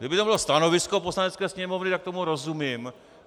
Kdyby to bylo stanovisko Poslanecké sněmovny, tak tomu rozumím.